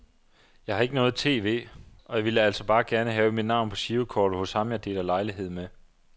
Jeg har ikke noget tv, og jeg ville altså bare gerne have mit navn på girokortet hos ham jeg deler lejlighed med.